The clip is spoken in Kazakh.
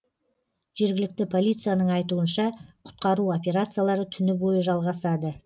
жергілікті полицияның айтуынша құтқару операциялары түні бойы жалғасады